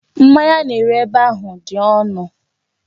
Mmanya a na-ere ebe ahu di onu.